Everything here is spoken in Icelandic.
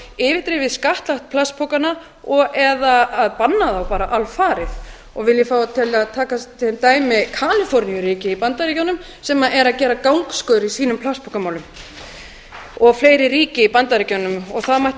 yfirdrifið skattlagt plastpokana og eða bannað þá bara alfarið og vil ég fá að taka sem dæmi kaliforníuríki í bandaríkjunum sem er að gera gangskör í sínum plastpokamálum og fleiri ríki í bandaríkjunum og það mætti